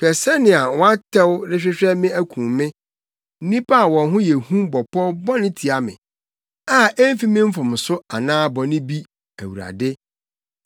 Hwɛ sɛnea wɔatɛw rehwehwɛ me akum me! Nnipa a wɔn ho yɛ hu bɔ pɔw bɔne tia me a emfi me mfomso anaa bɔne bi, Awurade.